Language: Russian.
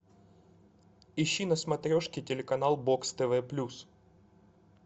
ищи на смотрешке телеканал бокс тв плюс